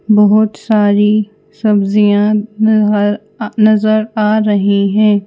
बहुत सारी सब्जियाँ नज़र अ नज़र आ रही हैं।